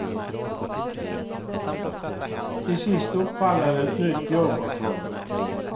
Till sist uppfann han ett nytt jobb åt honom.